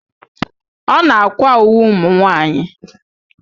Ọ na-àkwá uwe ụmụnwaanyị.